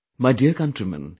My dear countrymen